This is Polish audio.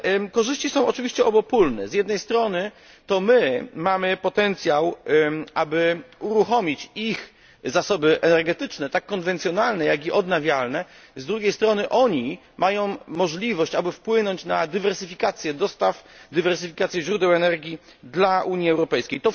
Korzyści są oczywiście obopólne, z jednej strony to my mamy potencjał, aby uruchomić ich zasoby energetyczne, tak konwencjonalne, jak i odnawialne, z drugiej strony oni mają możliwość, aby wpłynąć na dywersyfikację dostaw i źródeł energii dla Unii Europejskiej.